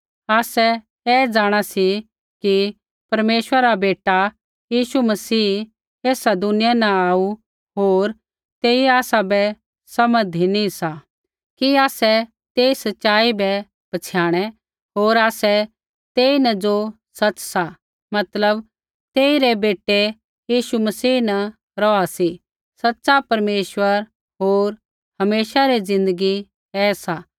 आसै ऐ जाँणा सी कि परमेश्वरा रा बेटा यीशु मसीह ऐसा दुनिया न आऊ सा होर तेइयै आसाबै समझ धिनी सा कि आसै तेई सच़ाई बै पहचाणे होर आसै तेईन ज़ो सच़ सा मतलब तेई रै बेटै यीशु मसीह न रौहा सी सच़ा परमेश्वर होर हमेशा री ज़िन्दगी ऐ सा